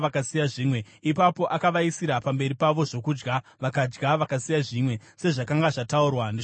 Ipapo akavaisira pamberi pavo zvokudya, vakadya vakasiya zvimwe, sezvakanga zvataurwa neshoko raJehovha.